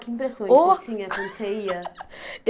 Ô Que impressões você tinha quando você ia?